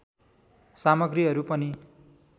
सामग्रीहरू पनि